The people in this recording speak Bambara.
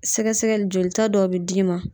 Sɛgɛsɛgɛli jolita dɔw be d'i ma.